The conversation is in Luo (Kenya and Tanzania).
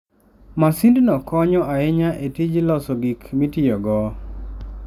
Masindno konyo ahinya e tij loso gik mitiyogo.